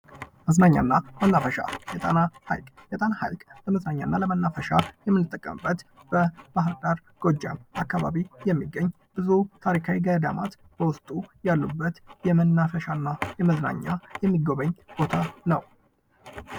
መዝናኛ እና መናፈሻ የጣና ሐይቅ የጣና ሐይቅ ከመዝናኛ እና ለመናፈሻ ከምንጠቀምበት በባህርዳር ጎጃም አካባቢ የሚገኝ ብዙ ታሪካዊ ገዳማት በውስጡ ያሉበት የመናፈሻ እና የመዝናኛ የሚጎበኝ ቦታ ነው ።